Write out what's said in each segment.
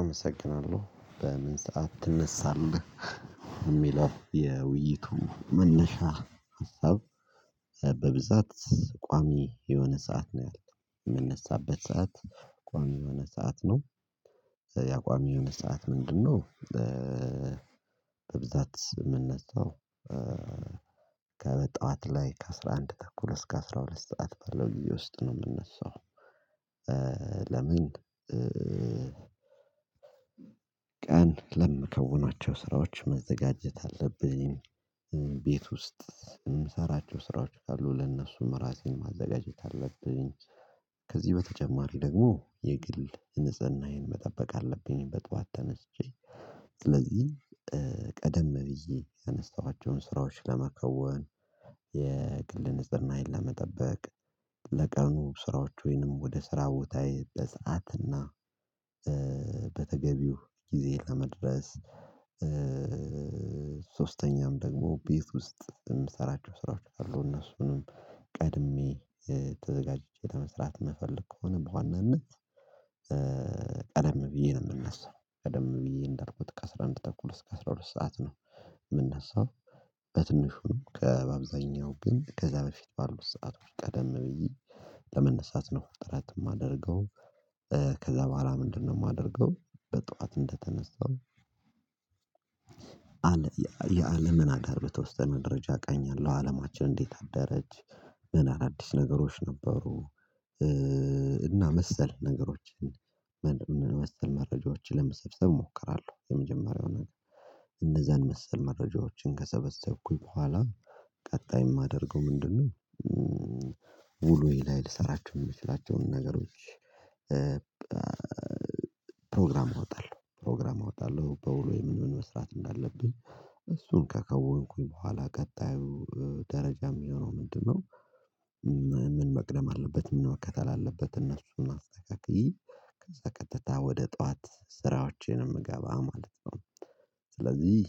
አመሰግናለሁ በምን ሰዓት ትነሳለህ? የሚለው የውይይቱ መነሻ ሀሳብ በብዛት ቋሚ የሆነ ሰዓት ነው ያለው የምነሳበት ሰዓት ቋሚ የሆነ ሰዓት ነው። ያ ቋሚ የሆነ ሰዓት ምንድነው? በብዛት የምነሳው ከበጠዋት ላይ ከአስራንድ ተኩል እስከ አስራሁለት ሰዓት ባለው ግዜ ውስጥ ነው የምነሳው። ለምን ቀን ለምከውኗቸው ስራዎች መዘጋጀት አለብኝ። ቤት ውስጥ የምሰራቸው ስራዎች ካሉ ለእነሱ ራሴን ማዘጋጀት አለብኝ። ከዚህ በተጨማሪ ደግሞ የግል ንጽህናዬን መጠበቅ አለብኝ በጧት ተነስቼ ስለዚህ ቀደም ብዬ ያነሰኋቸውን ስራዎች ለመከወን የግል ንጽህናዬን ለመጠበቅ ለቀኑ ስራዎች ወይንም ወደ ስራ ቦታዬ በሰአትና እና በተገቢው ጊዜ ለመድረስ። ሶስተኛም ደግሞ ቤት ውስጥ የምሰራቸው ስራዎች አሉ እነሱንም ቀድሜ ተዘጋጅቼ ለመስራት የምፈልግ ከሆነ በዋናነት ቀደም ብዬ ነው የምነሳው ቀደም ብዬ እንዳልኩት ከአስራአንድ ተኩል እስከ አስራሁለት ሰዓት ነው የምነሳው። በትንሹ ከበአብዛኛው ግን ከዛ በፊት ባሉት ሰዓት ቀደም ብዬ ለመነሳት ነው ጥረት የማደርገው። ከዛ በኋላ ምንድነው? የማደርገው በጠዋት እንደተነሳው አለ የአለምን ሀገር በተወሰነ ደረጃ ቃኛለው አለማችን እንዴት አደረጅ ምን አዳዲስ ነገሮች ነበሩ እና መሰል ነገሮችን መሰል መረጃዎችን ለመሰብሰብ እሞክራለሁ። የመጀመሪያውን እንደዛን መሰል መረጃዎችን ከሰበሰብኩኝ በኋላ ቀጣይ የማደርገው ምንድነው? ውሎዬ ላይ ልሰራቸው የምችላቸውን ነገሮች። ፕሮግራም እወጣለሁ ፕሮግራም እወጣለሁ በውሎዬ ምን ምን መስራት እንዳለብኝ እሱን ከከወንኩኝ በኋላ ቀጣዩ ደረጃ የሚሆነው ምንድነው? ምን መቅደም አለበት ምን መከተል አለበት እነሱን አስተካክዬ ከዛ ቀጥታ ወደ ጠዋት ስራዎቼ ነው የምገባ ማለት ነው። ስለዚህ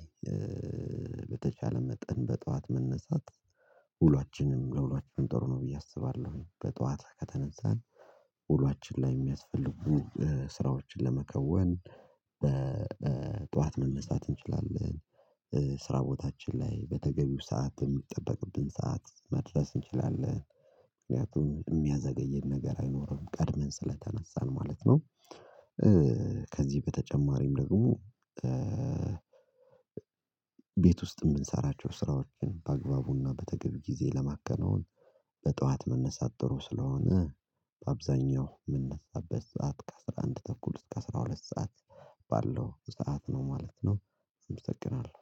በተቻለ መጠን በጠዋት መነሳት ውሏችንም ለውሏችን ጥሩ ነው ብዬ አስባለሁ በጠዋት ከተነሳን ውሏችን ላይ የሚያስፈልጉ ስራዎችን ለመከወን ጠዋት መነሳት እንችላለን። ስራ ቦታችን ላይ በተገቢው ሰዓት የሚጠበቅብን ሰዓት መድረስ እንችላለን። ምክንያቱም የሚያዘገየን ነገር አይኖርም ቀድመን ስለተነሳን ማለት ነው። ከዚህ በተጨማሪም ደግሞ ቤት ውስጥ የምንሰራቸው ስራዎችን በአግባቡና በተገቢ ጊዜ ለማከናወን በጠዋት መነሳት ጥሩ ስለሆነ በአብዛኛው የምነሳበት ሰዓት ከአስራአንድ ተኩል እስከ አስራሁለት ሰዓት ባለው ሰዓት ነው ማለት ነው። እመሰግናለሁ